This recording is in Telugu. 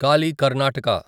కాలి కర్ణాటక